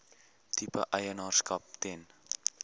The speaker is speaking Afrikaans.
tipe eienaarskap ten